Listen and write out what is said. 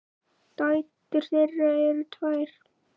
Dætur þeirra eru tvær.